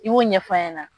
I y'o ɲɛfɔ a ɲɛna